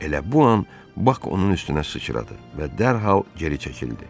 Elə bu an Bak onun üstünə sıçradı və dərhal geri çəkildi.